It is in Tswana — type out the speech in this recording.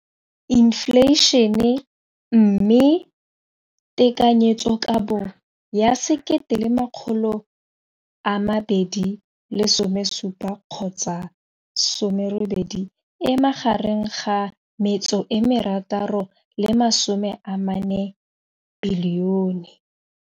Infleišene, mme tekanyetsokabo ya 2017, 18, e magareng ga R6.4 bilione.